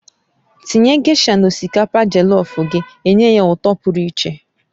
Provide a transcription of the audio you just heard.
Tinye gésha na osikapa jellof gị enye ya ụtọ pụrụ iche